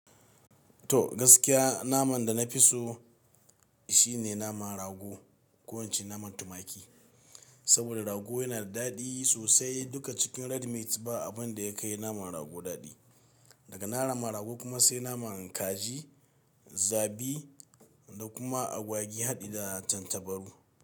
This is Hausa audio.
To gaskiya naman da na fi so shine naman rago, ko ince naman tumaki. Saboda rago yana da daɗi sosai duka cikin red miat ba abin da ya kai naman rago daɗi. Daga na naman rago kuma sai naman kaji, zabi da kuma agwagi haɗe da tattabaru.